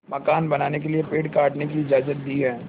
मकान बनाने के लिए पेड़ काटने की इजाज़त दी है